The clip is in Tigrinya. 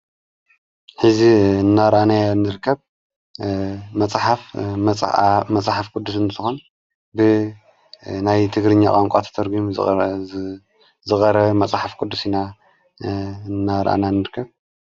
ሕዚ እናራኣና ንርከብ መጽሓፍ መጽሕፍ ቅዱስ ንተኾን ብ ናይ ትግርኛ ቐንቋ ተተርጕም ዝቐረበ መጽሕፍ ቅዱስ ኢና እናራኣና ንርከብ።